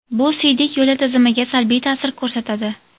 Bu siydik yo‘li tizimiga salbiy ta’sir ko‘rsatadi.